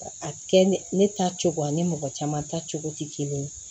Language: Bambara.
A kɛ ne ne ta cogo ani mɔgɔ caman ta cogo tɛ kelen ye